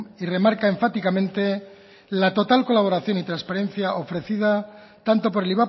y remarca enfáticamente la total colaboración y transparencia ofrecida tanto por el